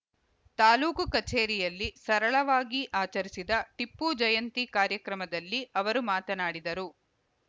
ತಾಲೂಕು ಕಚೇರಿಯಲ್ಲಿ ಸರಳವಾಗಿ ಆಚರಿಸಿದ ಟಿಪ್ಪು ಜಯಂತಿ ಕಾರ್ಯಕ್ರಮದಲ್ಲಿ ಅವರು ಮಾತನಾಡಿದರು